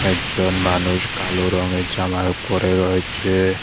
একজন মানুষ কালো রঙের জালা পড়ে রয়েছে।